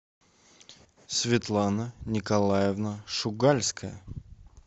светлана николаевна шугальская